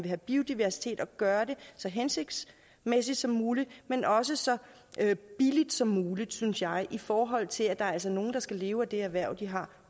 have biodiversitet at gøre det så hensigtsmæssigt som muligt men også så billigt som muligt synes jeg i forhold til at der altså er nogle der skal leve af det erhverv de har